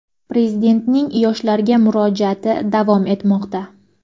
Prezidentning yoshlarga murojaati davom etmoqda.